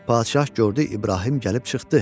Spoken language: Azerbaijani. Padşah gördü İbrahim gəlib çıxdı.